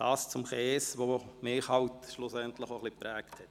So viel zum Käse, der mich schlussendlich auch prägt.